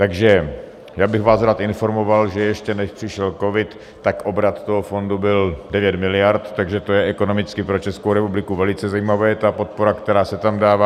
Takže já bych vás rád informoval, že ještě než přišel covid, tak obrat toho fondu byl 9 miliard, takže je to ekonomicky pro Českou republiku velice zajímavé, ta podpora, která se tam dává.